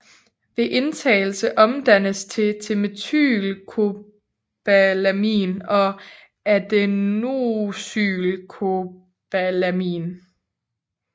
Ved indtagelse omdannes det til methylcobalamin og adenosylcobalamin